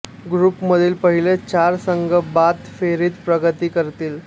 ग्रुपमधील पहिले चार संघ बाद फेरीत प्रगती करतील